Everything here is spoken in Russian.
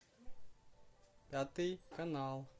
пятый канал